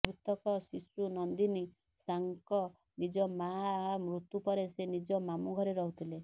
ମୃତକ ଶିଶୁ ନନ୍ଦିନୀ ସାଙ୍କ ନିଜ ମାଆ ମୃତ୍ୟୁ ପରେ ସେ ନିଜ ମାମୁଁ ଘରେ ରହୁଥିଲେ